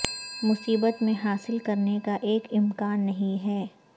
مصیبت میں حاصل کرنے کا ایک امکان نہیں ہے